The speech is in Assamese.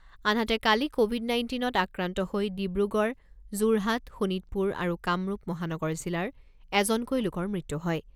আনহাতে, কালি ক’ভিড নাইণ্টিনত আক্ৰান্ত হৈ ডিব্ৰুগড়, যোৰহাট, শোণিতপুৰ আৰু কামৰূপ মহানগৰ জিলাৰ এজনকৈ লোকৰ মৃত্যু হয়।